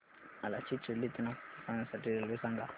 मला चिचोली ते नागपूर जाण्या साठी रेल्वे सांगा